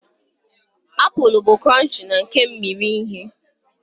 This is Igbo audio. Apụl bụ cronchii na kemmiri ihe.